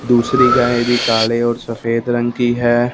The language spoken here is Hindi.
दूसरी गाय भी काले और सफेद रंग की है।